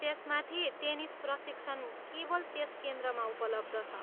त्यसमाथि, टेनिस प्रशिक्षण केवल त्यस केन्द्रमा उपलब्ध छ।